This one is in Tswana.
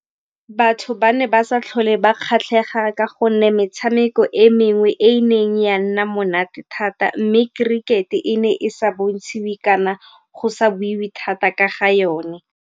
Batho ba ne ba sa tlhole ba kgatlhega ka gonne metshameko e mengwe e e neng ya nna monate thata mme kerikete e ne e sa bontshitswe kana go sa buiwe thata ka ga yone.